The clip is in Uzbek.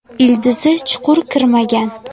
Ildizi chuqur kirmagan.